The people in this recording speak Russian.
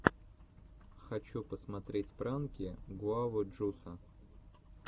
хочу посмотреть пранки гуавы джуса